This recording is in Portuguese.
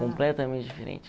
Completamente diferente.